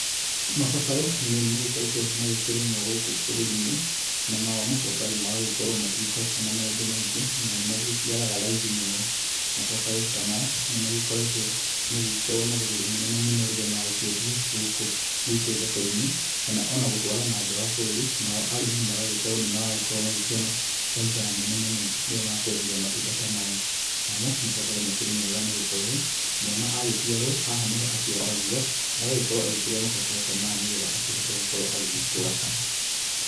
Mababaĩ nĩ magĩkoretwo magĩkĩrimwo gũku bũrurĩ-inĩ, namo mababaĩ magagĩkorwo matĩkoragwo na maũndu maĩngi na nĩmagĩciaraga raĩthi mũno. Mababaĩ ta maya nĩ magĩkoretwo magikorwo na thũguri mũnene mũno rirĩa magukĩendio gũku gwĩto thoko-inĩ, kana ona gũtwara na njaa wa burũrĩ nao arĩmi magagĩkorwo nĩmaragikorwo makĩona baĩnda nene muno rirĩa makwendĩa matũnda ta maya. Namo mababaĩ makĩri mega tondu mwana agĩciarwo haha nĩho akĩambagia, agagĩkorwo agĩkĩria mababaĩ ta maya ni getha akĩhote gũkorwo agĩgikũra.